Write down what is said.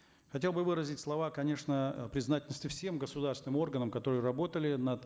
хотел бы выразить слова конечно признательности всем государственным органам которые работали над